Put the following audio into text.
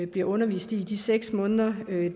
bliver undervist i i de seks måneder